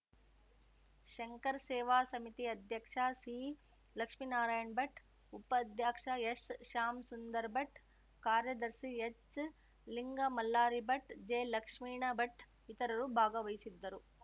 ಶಂಕರಸೇವಾ ಸಮಿತಿ ಅಧ್ಯಕ್ಷ ಸಿಲಕ್ಷ್ಮೀನಾರಾಯಣ್ ಭಟ್‌ ಉಪಾಧ್ಯಕ್ಷ ಎಸ್‌ಶ್ಯಾಮಸುಂದರ್ ಭಟ್‌ ಕಾರ್ಯದರ್ಶಿ ಹೆಚ್‌ಲಿಂಗಮಲ್ಲಾರಿಭಟ್‌ ಜೆಲಕ್ಷ್ಮೀಣಭಟ್‌ ಇತರರು ಭಾಗವಹಿಸಿದ್ದರು